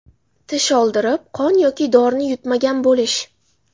Tish oldirib, qon yoki dorini yutmagan bo‘lish.